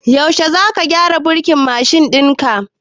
Yaushe za ka gyara burkin mashin ɗin ka?